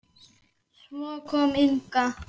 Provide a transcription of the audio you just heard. Svo kom Inga.